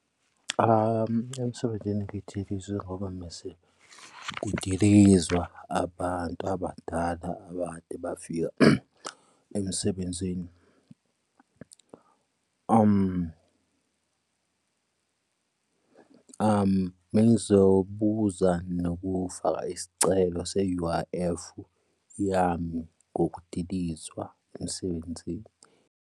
Emsebenzini ngidilizwe ngoba mese kudilizwa abantu abadala abakade bafika emsebenzini. Bengizobuza nokufaka isicelo se-U_I_F yami ngokudilizwa emsebenzini.